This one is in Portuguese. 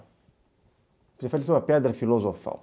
Você falou que isso é uma pedra filosofal.